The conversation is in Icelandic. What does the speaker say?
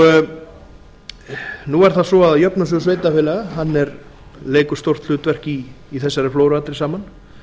sérstaklega nú er það svo að jöfnunarsjóður sveitarfélaga leikur stórt hlutverk í þessari flóru allri saman